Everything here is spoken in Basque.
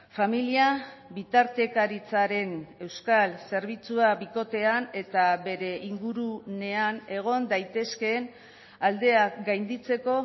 familia bitartekaritzaren euskal zerbitzua bikotean eta bere ingurunean egon daitezkeen aldeak gainditzeko